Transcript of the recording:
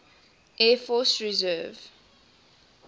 air force reserve